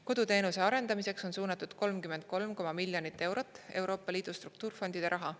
Koduteenuse arendamiseks on suunatud 33 miljonit eurot Euroopa Liidu struktuurifondide raha.